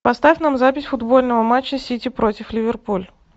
поставь нам запись футбольного матча сити против ливерпуль